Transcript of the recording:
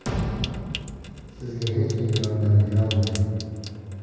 Sizga hech kim yordam berolmaydi.